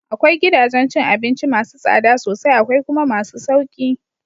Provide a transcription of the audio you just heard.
Akwai gidajen cin abinci masu tsada sosai akwai kuma masu sauki